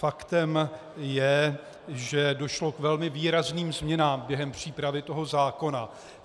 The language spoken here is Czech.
Faktem je, že došlo k velmi výrazným změnám během přípravy toho zákona.